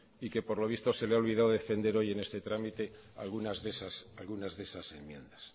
y que por lo visto se le ha olvidado defender hoy en este trámite algunas de esas enmiendas